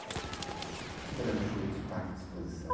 O quê que era o show dos parques de exposição?